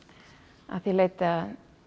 að því leyti að